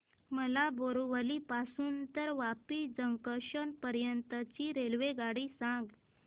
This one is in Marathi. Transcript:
मला बोरिवली पासून तर वापी जंक्शन पर्यंत ची रेल्वेगाडी सांगा